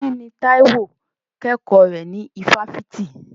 Kí ni Táíwò kẹ́kọ̀ọ́ rẹ̀ ní ifáfitì?